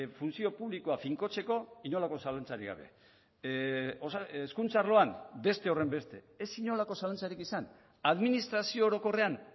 funtzio publikoa finkotzeko inolako zalantzarik gabe hezkuntza arloan beste horrenbeste ez inolako zalantzarik izan administrazio orokorrean